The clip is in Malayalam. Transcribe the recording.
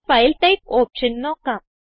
ഫൈൽ ടൈപ്പ് ഓപ്ഷൻ നോക്കാം